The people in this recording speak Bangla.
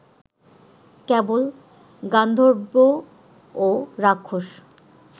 কেবল গান্ধর্ব ও রাক্ষস